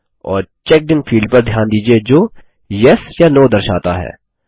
और checked in field पर ध्यान दीजिये जो येस या नो दर्शाता है